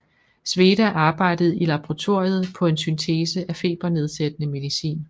Sveda arbejdede i laboratoriet på en syntese af febernedsættende medicin